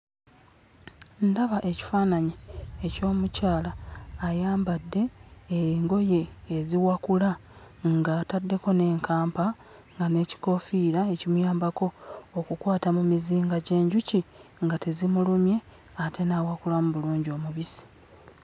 Ndaba ekifaananyi eky'omukyala ayambadde engoye eziwakula ng'ataddeko n'enkampa nga n'ekikoofiira ekimuyambako okukwata mu mizinga gy'enjuki nga tezimulumye ate n'awakulamu bulungi omubisi.